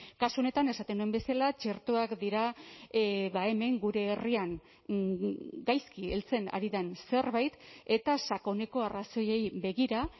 kasu honetan esaten nuen bezala txertoak dira hemen gure herrian gaizki heltzen ari den zerbait eta sakoneko arrazoiei begira